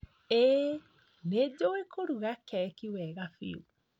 Ĩĩ nĩjũĩ kuruga keki wega biũ